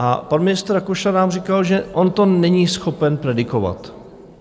A pan ministr Rakušan nám říkal, že on to není schopen predikovat.